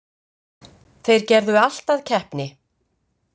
Þeir gerðu allt að keppni.